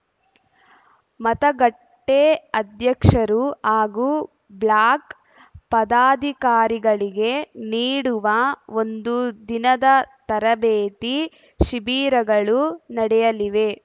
ಮತಗಟ್ಟೆಅಧ್ಯಕ್ಷರು ಹಾಗೂ ಬ್ಲಾಕ್‌ ಪದಾಧಿಕಾರಿಗಳಿಗೆ ನೀಡುವ ಒಂದು ದಿನದ ತರಬೇತಿ ಶಿಬಿರಗಳು ನಡೆಯಲಿವೆ